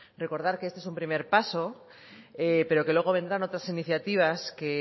recordar que este es un primer paso pero que luego vendrán otras iniciativas que